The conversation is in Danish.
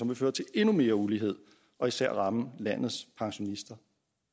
vil føre til endnu mere ulighed og især ramme landets pensionister